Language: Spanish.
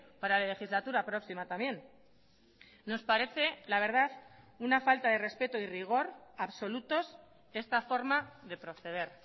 para la legislatura próxima también nos parece la verdad una falta de respeto y rigor absolutos esta forma de proceder